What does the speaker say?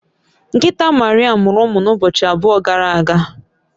Nkịta Maria mụrụ ụmụ n’ụbọchị abụọ gara aga